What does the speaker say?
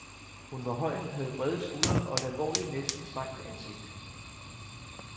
Hun var høj, havde brede skuldre og et alvorligt, næsten strengt ansigt.